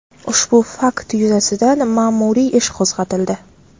Ushbu fakt yuzasidan ma’muriy ish qo‘zg‘atildi.